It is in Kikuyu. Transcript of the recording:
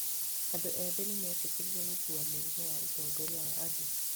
Andũ ethĩ nĩ meetĩkĩrire gũkuua mũrigo wa ũtongoria wa andũ.